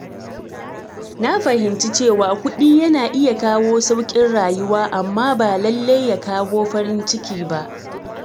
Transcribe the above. Na fahimci cewa kuɗi yana iya kawo sauƙin rayuwa amma ba lallai ya kawo farin ciki ba.